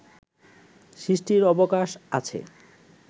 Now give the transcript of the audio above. সৃষ্টির অবকাশ আছে